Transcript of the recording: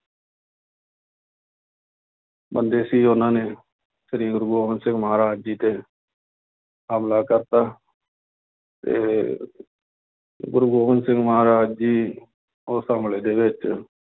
ਬੰਦੇ ਸੀ ਉਹਨਾਂ ਨੇ ਸ੍ਰੀ ਗੁਰੂ ਗੋਬਿੰਦ ਸਿੰਘ ਮਹਾਰਾਜ ਜੀ ਤੇ ਹਮਲਾ ਕਰ ਦਿੱਤਾ ਤੇ ਗੁਰੂ ਗੋਬਿੰਦ ਸਿੰਘ ਮਹਾਰਾਜ ਜੀ ਉਸ ਹਮਲੇ ਦੇ ਵਿੱਚ